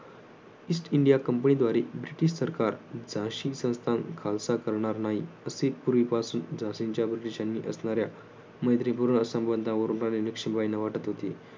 East India Company द्वारे British सरकार झाशी संस्थान खालसा करणार नाही. असे पूर्वीपासून झाशीच्या ब्रिटिशांनी असणाऱ्या मैत्रीपूर्व संबंधांवरून राणी लक्ष्मीबाईंना वाटत होते.